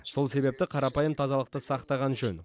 сол себепті қарапайым тазалықты сақтаған жөн